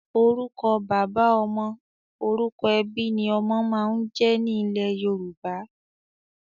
Orúkọ bàbá ọmọ/orúkọ ẹbí ni ọmọ máa ń jẹ́ ní ilẹ́ Yorùbá.